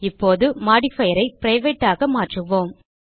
இப்போது மோடிஃபயர் ஐ பிரைவேட் ஆக மாற்றுவோம்